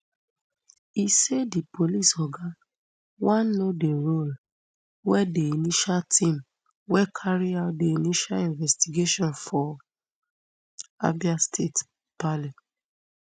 e say di police oga wan know di role wey di initial team wey carry out di initial investigation for abia state paly